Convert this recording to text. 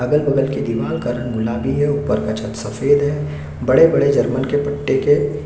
अगल-बगल के दिवार का रंग गुलाबी है ऊपर का छत रंग सफेद है बड़े-बड़े जर्मन के पट्टे है।